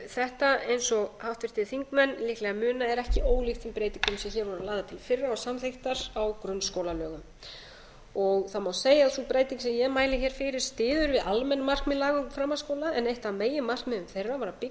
þetta eins og háttvirtir þingmenn líklega muna er ekki ólíkt þeim breytingum sem hér voru lagðar til í fyrra og samþykktar á grunnskólalögum það má segja að sú breyting sem ég mæli hér fyrir styðji við almenn markmið laga um framhaldsskóla en eitt af meginmarkmiðum þeirra var að byggja upp